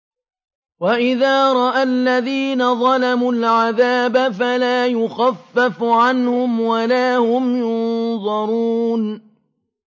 وَإِذَا رَأَى الَّذِينَ ظَلَمُوا الْعَذَابَ فَلَا يُخَفَّفُ عَنْهُمْ وَلَا هُمْ يُنظَرُونَ